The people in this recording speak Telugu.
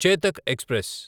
చేతక్ ఎక్స్ప్రెస్